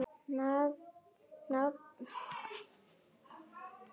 Nafnið kemur úr grísku